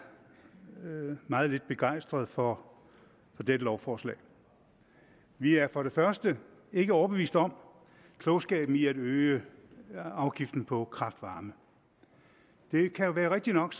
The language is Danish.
meget lidt begejstret for dette lovforslag vi er for det første ikke overbevist om klogskaben i at øge afgiften på kraft varme det kan jo være rigtigt nok